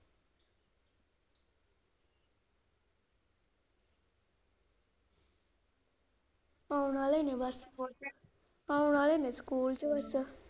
ਆਉਣ ਵਾਲੇ ਨੇ ਬਸ, ਆਉਣ ਵਾਲੇ ਨੇ school ਚੋ ਬਸ।